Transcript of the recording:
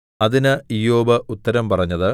അതിന് ഇയ്യോബ് ഉത്തരം പറഞ്ഞത്